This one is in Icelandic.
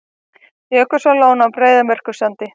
Jökulsárlón á Breiðamerkursandi.